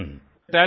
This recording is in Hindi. हाँ येस सिर